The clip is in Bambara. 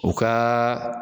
U kaa